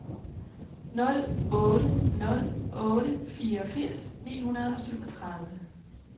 nul otte nul otte fireogfirs ni hundrede og syvogtredive